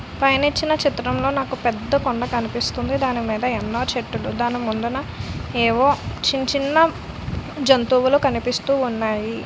పైన ఇచ్చిన చిత్రంలో నాకు పెద్ద కొండ కనిపిస్తుంది దానిమీద ఎన్నో చెట్టులు దాని ముందున ఏవో చిన్న చిన్న జంతువులు కనిపిస్తూ ఉన్నాయి.